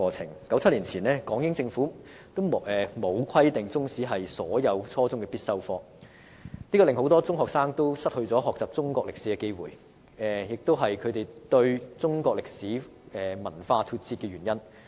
在1997年前，港英政府並沒有規定中史為初中必修科，令很多中學生失去學習中國歷史的機會，這也是導致他們與中國歷史文化脫節的原因。